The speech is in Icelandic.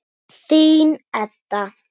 Þín, Edda.